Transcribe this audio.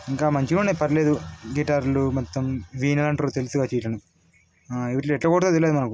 ఇంకా మంచిగున్నాయి పర్లేదు గిటార్లు మొత్తం ఆ ఇవిటిని ఎట్లా కొడతారో తెలియదు మనకు.